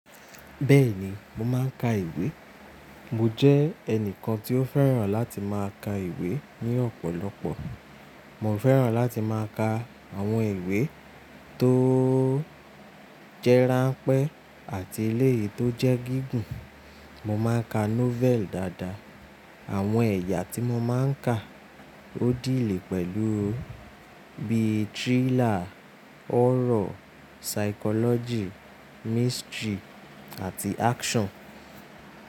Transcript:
Bẹ́ẹ̀ni, mo máa ń ka ìwé. Mo jẹ́ ẹnìkan tí ó fẹ́ràn láti máa ka ìwé ní ọ̀pọ̀lọpọ̀. Mo fẹ́ràn láti máa ka àwọn ìwé tó jẹ́ ránpẹ́ àti eléyìí tó jẹ́ gígùn. Mo máa ka novel dáadáa. Àwọn ẹ̀yà tí mo máa ń ka ó dílẹ̀ pẹ̀lú bí i thriller, horror, psychology, mystery, àti action.